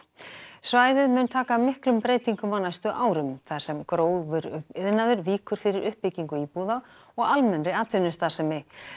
svæðið mun taka miklum breytingum á næstu árum þar sem grófur iðnaður víkur fyrir uppbyggingu íbúða og almennri atvinnustarfsemi